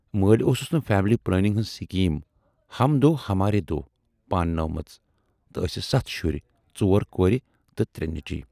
مٲلۍ اوسُس نہٕ فیٖملی پلینگ ہٕنز سکیٖم 'ہم دو ہمارے دو' پانہٕ نٲومٕژ تہٕ ٲسِس ستھ شُرۍ، ژور کورِ تہٕ ترے نیچوۍ۔